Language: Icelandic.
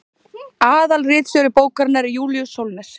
aðalritstjóri bókarinnar er júlíus sólnes